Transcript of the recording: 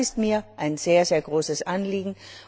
Das ist mir ein sehr großes Anliegen.